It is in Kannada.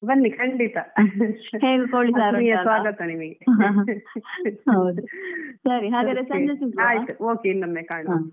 ಬನ್ನಿ ಖಂಡಿತ ಆತ್ಮೀಯ ಸ್ವಾಗತ ನಿಮಗೆ